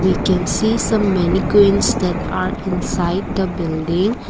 we can see some many queens that are inside the building.